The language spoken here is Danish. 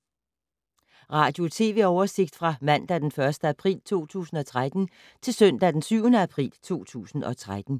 Radio/TV oversigt fra mandag d. 1. april 2013 til søndag d. 7. april 2013